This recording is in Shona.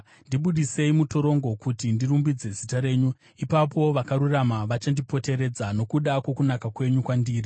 Ndibudisei mutorongo, kuti ndirumbidze zita renyu. Ipapo vakarurama vachandipoteredza nokuda kwokunaka kwenyu kwandiri.